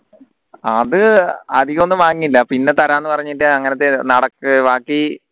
അത് അധികം ഒന്നും വാങ്ങിയില്ല പിന്നെ തരാംന്ന് പറഞ്ഞിട്ട് അങ്ങനെ ബാക്കി